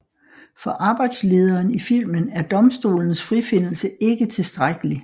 For arbejdslederen i filmen er domstolens frifindelse ikke tilstrækkelig